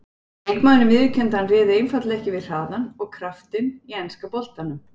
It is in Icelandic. Leikmaðurinn viðurkenndi að hann réði einfaldlega ekki við hraðann og kraftinn í enska boltanum.